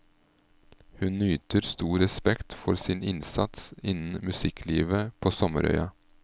Hun nyter stor respekt for sin innsats innen musikklivet på sommerøya.